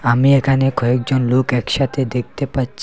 আমি এখানে কয়েকজন লোক একসাথে দেখতে পাচ্ছি।